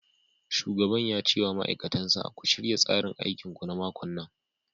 Shugaban ya ce wa ma'aikatan sa " ku shirya tsarin aikinku na makon nan!'